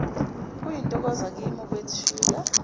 kuyintokozo kimina ukwethula